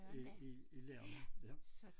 I i i landet ja